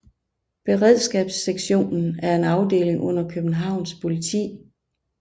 Beredskabssektionen er en afdeling under Københavns Politi